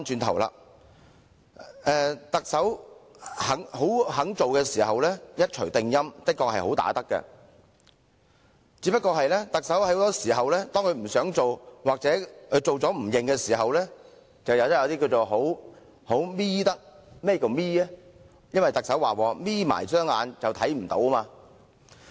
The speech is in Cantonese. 特首願意做的工作會一錘定音，的確"好打得"，但面對不想做的工作或做了不想承認的情況，就變成"好'瞇'得"，因為特首說過"'瞇'起雙眼便看不見"。